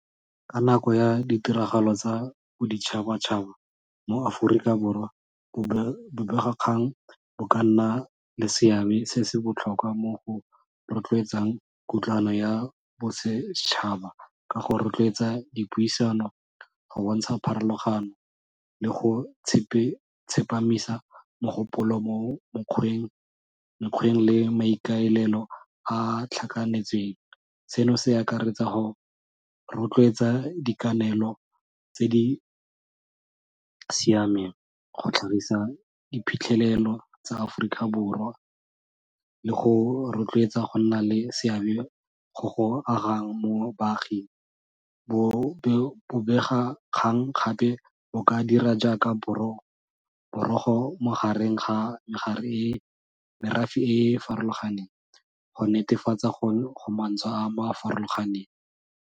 Ka nako ya ditiragalo tsa boditšhabatšhaba mo-Aforika Borwa bobegakgang bo ka nna le seabe se se botlhokwa mo go rotloetsang kutlwano ya bosetšhaba ka go rotloetsa dipuisano go bontsha pharologano, le go tsepamisa mogopolo mo mokgweng le maikaelelo a tlhakanetsweng. Seno se akaretsa go rotloetsa dikanelo tse di siameng go tlhagisa diphitlhelelo tsa Aforika Borwa le go rotloetsa go nna le seabe go go agang mo baaging. Bobegakgang gape bo ka dira jaaka borogo magareng ga merafe e e farologaneng go netefatsa gore go mantswe a a farologaneng.